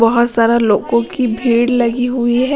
बहुत सारे लोगों की भेड़ लगी हुई है।